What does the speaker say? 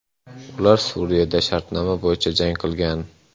Ular Suriyada shartnoma bo‘yicha jang qilgan.